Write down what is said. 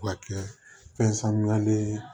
Ka kɛ fɛn sanuyalen ye